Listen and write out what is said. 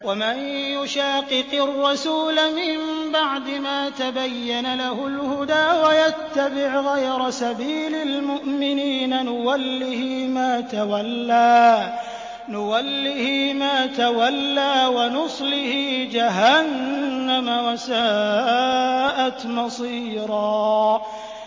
وَمَن يُشَاقِقِ الرَّسُولَ مِن بَعْدِ مَا تَبَيَّنَ لَهُ الْهُدَىٰ وَيَتَّبِعْ غَيْرَ سَبِيلِ الْمُؤْمِنِينَ نُوَلِّهِ مَا تَوَلَّىٰ وَنُصْلِهِ جَهَنَّمَ ۖ وَسَاءَتْ مَصِيرًا